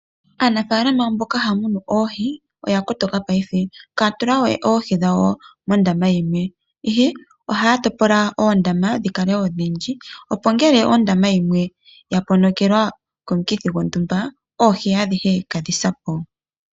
Aanafaalama mboka haya munu oohi oya kotoka ngashingeyi ihaya tula we oohi dhawo mondama yimwe. Ihe ohaya topola oondama dhi kale odhindji. Ihe ngele ondama yimwe ya ponokelwa komukithi gontumba oohi adhihe itadhi si po.